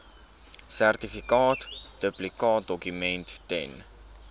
sertifikaat duplikaatdokument ten